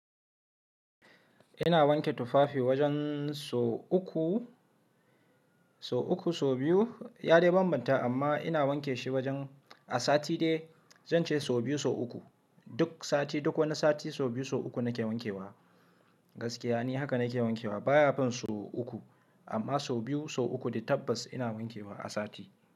Ina wanke tufafi wajen so uku, so uku, so biyu. Ya dai bambanta amma ina wanke shi wajen a sati dai zanje so biyu, so uku. Duk sati, duk wani sati so biyu, so uku nake wankewa. Gaskiya ne haka nake wankewa. Ba ya fin so uku amma so biyu, so uku dai tabbas ina wankewa a sati.